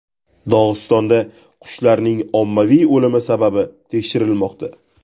Dog‘istonda qushlarning ommaviy o‘limi sababi tekshirilmoqda.